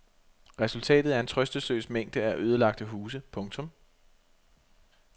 Resultatet er en trøstesløs mængde af ødelagte huse. punktum